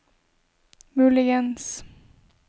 muligens